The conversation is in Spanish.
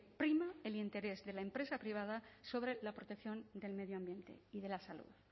prima el interés de la empresa privada sobre la protección del medio ambiente y de la salud